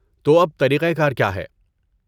تو اب طریقہ کار کیا ہے؟